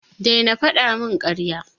Daina fada min karya.